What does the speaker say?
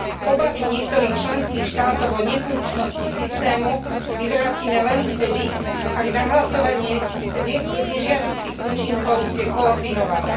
Obavy niektorých členských štátov o nefunkčnosti systému vyvrátime len vtedy, ak nahlasovanie nežiaducich účinkov bude koordinované.